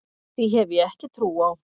Því hef ég ekki trú á.